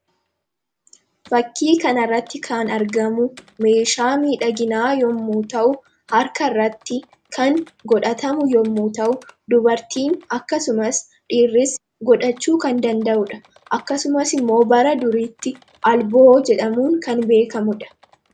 Fakkii kanarratti kan argamu meeshaa miidhaginaa yommuu ta'u, harka irratti kan godhatamu yommu ta'u, dubartiin akkasumas dhiirris godhachuu kan danda'uudha. Akkasumas immoo bara duriitti alboo jedhamuun kan beekamudha.